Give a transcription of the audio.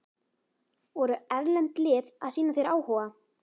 Voru erlend lið að sýna þér áhuga?